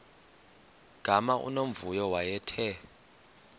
gama unomvuyo wayethe